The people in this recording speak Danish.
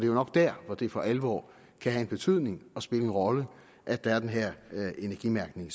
jo nok der det for alvor kan have en betydning og spille en rolle at der er den her energimærkning